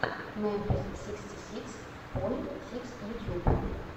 мемфис сиксти сикс поинт сикс ютьюб